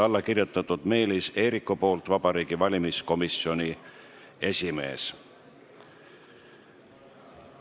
Alla on kirjutanud Meelis Eerik, Vabariigi Valimiskomisjoni esimees.